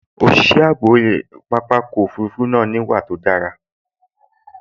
Òṣìṣẹ́ ààbò pápákọ̀ òfurufú náà níwà tó dára